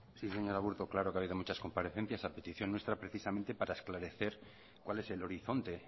sí señor aburto claro que ha habido muchas comparecencia a petición nuestra precisamente para esclarecer cuál es el horizonte